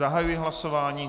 Zahajuji hlasování.